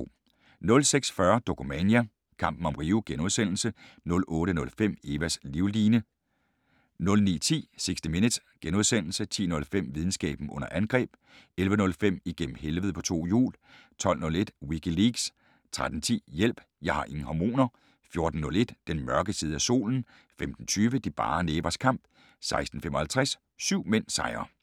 06:40: Dokumania: Kampen om Rio * 08:05: Evas livline 09:10: 60 Minutes * 10:05: Videnskaben under angreb 11:05: Igennem helvede på to hjul 12:01: WikiLeaks 13:10: Hjælp, jeg har ingen hormoner! 14:01: Den mørke side af solen 15:20: De bare nævers kamp 16:55: Syv mænd sejrer